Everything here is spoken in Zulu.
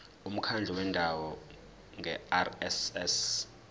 umkhandlu wendawo ngerss